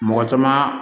Mɔgɔ caman